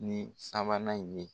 Ni sabanan in ye.